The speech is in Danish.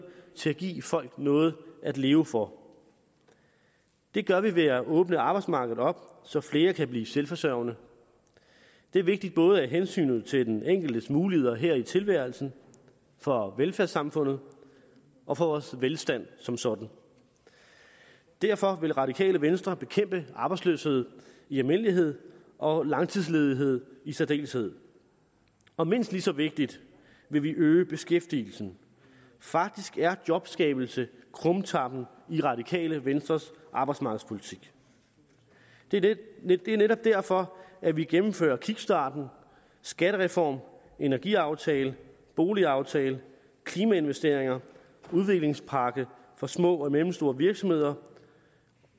til at give folk noget at leve for det gør vi ved at åbne arbejdsmarkedet op så flere kan blive selvforsørgende det er vigtigt både af hensyn til den enkeltes muligheder her i tilværelsen for velfærdssamfundet og for vores velstand som sådan derfor vil radikale venstre bekæmpe arbejdsløshed i almindelighed og langtidsledighed i særdeleshed og mindst lige så vigtigt vil vi øge beskæftigelsen faktisk er jobskabelse krumtappen i radikale venstres arbejdsmarkedspolitik det det er netop derfor at vi gennemfører kickstarten skattereformen energiaftalen boligaftalen klimainvesteringer udviklingspakken for små og mellemstore virksomheder